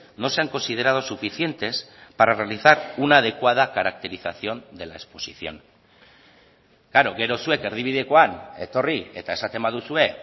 no se han considerado suficientes para realizar una adecuada caracterización de la exposición klaro gero zuek erdibidekoan etorri eta esaten baduzue